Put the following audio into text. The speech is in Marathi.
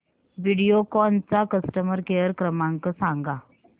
व्हिडिओकॉन चा कस्टमर केअर क्रमांक सांगा